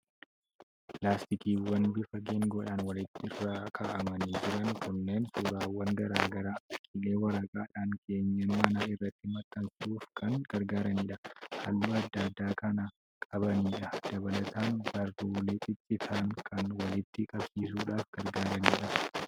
Laastikiiwwan bifa geengoodhaan walirra kaa'amanii jiran kunneen suuraawwan garaa garaa, fakkiilee waraqaadhaan keenyan manaa irratti maxxanfsuuf kan gargaaranidha. Halluu adda addaa kan qabanidha. Dabalataan baruulee ciccitan kan walitti qabsiisuudhaaf gargaaranidha.